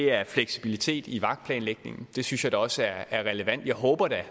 er fleksibilitet i vagtplanlægningen det synes jeg da også er relevant jeg håber da